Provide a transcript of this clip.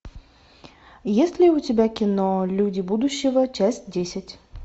есть ли у тебя кино люди будущего часть десять